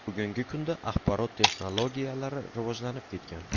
Bugungi kunda axborot texnologiyalari rivojlanib ketgan.